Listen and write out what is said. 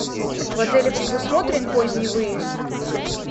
в отеле предусмотрен поздний выезд